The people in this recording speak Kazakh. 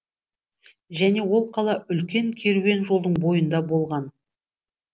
және ол қала үлкен керуен жолдың бойында болған